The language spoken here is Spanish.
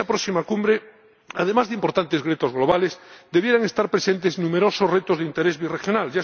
En esa próxima Cumbre, además de importantes retos globales, debieran estar presentes numerosos retos de interés birregional.